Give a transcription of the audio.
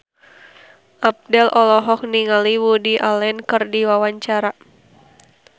Abdel olohok ningali Woody Allen keur diwawancara